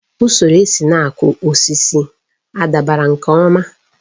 Usoro esi na-akụ osisi a dabara nke ọma?